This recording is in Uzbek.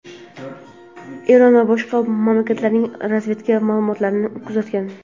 Eron va boshqa mamlakatlarning razvedka ma’lumotlarini kuzatgan.